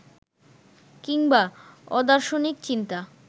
কিংবা অদার্শনিক চিন্তা